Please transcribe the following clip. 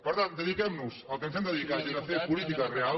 per tant dediquem nos al que ens hem de dedicar i a fer política real